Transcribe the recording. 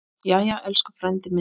Jæja, elsku frændi minn.